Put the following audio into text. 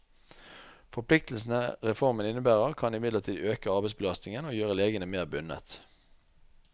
Forpliktelsene reformen innebærer, kan imidlertid øke arbeidsbelastningen og gjøre legene mer bundet.